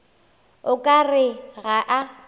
o ka re ga a